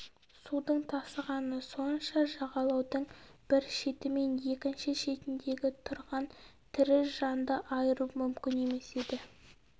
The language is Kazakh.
судың тасығаны сонша жағалаудың бір шеті мен екінші шетіндегі тұрған тірі жанды айыру мүмкін емес еді